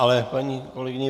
Ale paní kolegyni